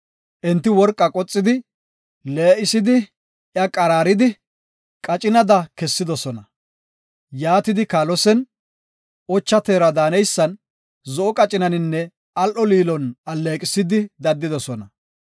Enti worqaa qoxidi, lee7isidi, iya qaraaridi, qacinada kessidosona. Yaatidi kaalosen, ocha teera daaneysan, zo7o qacinaninne al7o liinon alleeqisidi daddidosona.